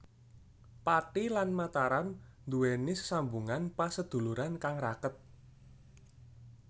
Pathi lan Mataram nduweni sesambungan paseduluran kang raket